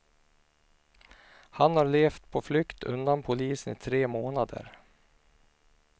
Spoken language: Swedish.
Han har levt på flykt undan polisen i tre månader.